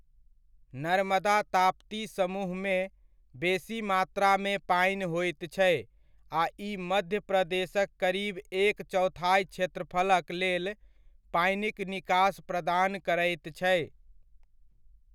नर्मदा ताप्ती समूहमे, बेसी मात्रामे पानि होइत छै आ ई मध्य प्रदेशक करीब एक चौथाइ क्षेत्रफलक लेल पानिक निकास प्रदान करैत छै।